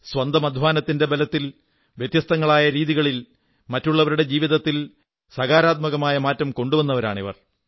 സ്വന്തം അധ്വാനത്തിന്റെ ബലത്തിൽ വ്യത്യസ്തങ്ങളായ രീതികളിൽ മറ്റുള്ളവരുടെ ജീവിതത്തിൽ സകാരാത്മകമായ മാറ്റം കൊണ്ടുവരുന്നവരാണിവർ